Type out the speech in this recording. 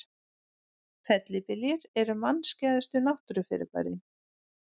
Fellibyljir eru mannskæðustu náttúrufyrirbærin.